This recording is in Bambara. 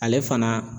Ale fana